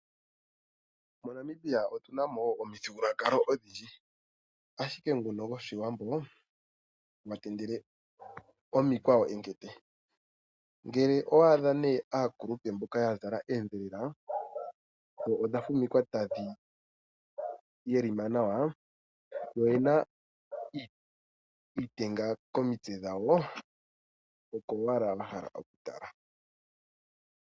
Monamibia otu na omithigululwakalo odhindji, ashike nguno goshiwambo gwa tendele omikwawo enkete. Ngele owa adha nee aakulupe mboka ya zala eedhelela, dho odha fumikwa tadhi yelima nawa, yo oyena iitenga komitse dhawo, oko owala wa hala oku tala.